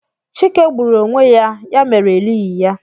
Chike gburu onwe ya ya mere elighị ya